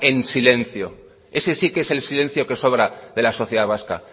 en silencio ese sí que es el silencio que sobra de la sociedad vasca